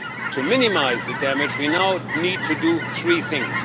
To minimise the damage, we now need to do three things.